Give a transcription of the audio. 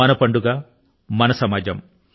మన పండుగ మన సమాజం